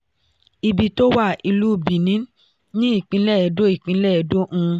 ibi tó wá ilú bini ni ipinlẹ Ẹdo, ipinlẹ Ẹdo um